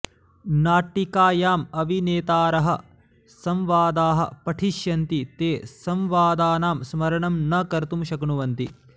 नाटिकायां अभिनेतारः संवादाः पठिष्यन्ति ते संवादानां स्मरणं न कर्तुं शक्नुवन्ति